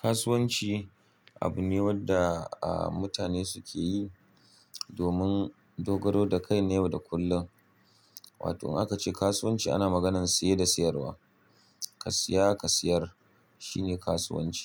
Kasuwanci abu ne wanda mutane suke yi domin dogaro da kai na yau da kullum. Wato in aka ce kasuwanci ana maganar saye da sayarwa. Ka siya ka siyar shi ne kasuwanci.